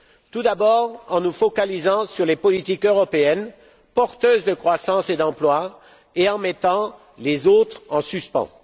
Tout d'abord, en nous focalisant sur les politiques européennes porteuses de croissance et d'emploi et en mettant les autres en suspens.